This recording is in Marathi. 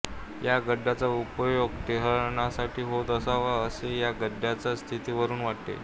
ह्या गडाचा उपयोग टेहळणीसाठी होत असावा असे या गडाच्या स्थितीवरुन वाटते